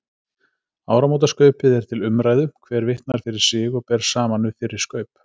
Áramótaskaupið er til umræðu, hver vitnar fyrir sig og ber saman við fyrri skaup.